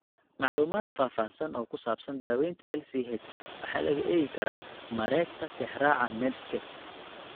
Macluumaad faahfaahsan oo ku saabsan daawaynta LCH waxa laga eegi karaa mareegta Tixraaca Medscape.